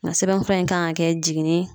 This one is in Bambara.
Nga sɛbɛn fura in kan ka kɛ jiginni